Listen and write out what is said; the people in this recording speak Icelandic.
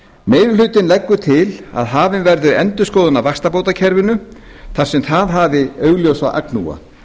meiri hlutinn leggur til að hafin verði endurskoðun á vaxtabótakerfinu þar sem það hafi augljósa agnúa